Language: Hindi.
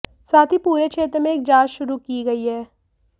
साथ ही पूरे क्षेत्र में एक जांच शुरू की गई है